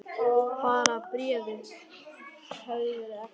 Bara bréfið hefði verið ekta!